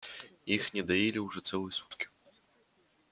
их не доили уже целые сутки